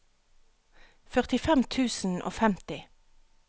førtifem tusen og femti